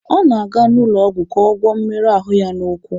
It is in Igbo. Ọ na-aga ụlọ ọgwụ ka ọ gwọọ mmerụ ahụ ya n'ụkwụ.